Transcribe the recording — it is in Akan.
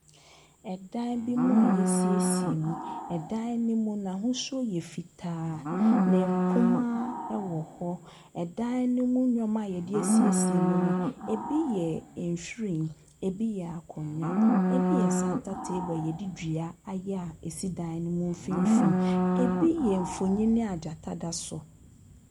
Ɛdan bi mu a yɛasiesie mu. Ɛdan no mu n'ahosuo yɛ fitaa na mpomma ɛwɔ hɔ. Ɛdan no mu nneɛma a yɛde asiesie mu no, ebi yɛ nhwiren, ebi yɛ akonnwa, ebi yɛ santa taeble a yɛde dua ayɛ a ɛsi dan no mfimfini. Ebi yɛ mfonini a gyata da so.